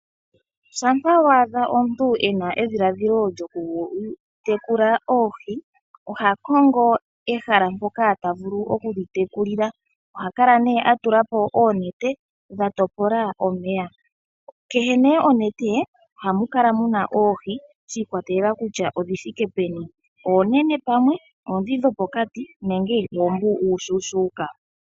Shampa wa adha omuntu e na edhiladhilo lyoku tekula oohi, oha kongo ehala mpoka ta vulu oku dhi tekulila. Oha kala nee a tula po oonete, dha topola omeya. Kehe nee onete ohamu kala muna oohi, shi ikwatelela kutya odhi thike peni, oonene pamwe, oondhi dhopokati nenge pamwe oombu uushuushuuka.